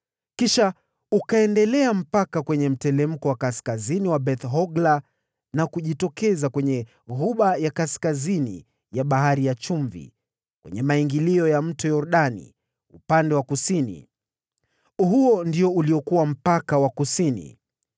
Kisha ukaenda mpaka kwenye mteremko wa kaskazini wa Beth-Hogla na kujitokeza kwenye ghuba ya kaskazini ya Bahari ya Chumvi, kwenye maingilio ya Yordani upande wa kusini. Huo ulikuwa mpaka wa kusini.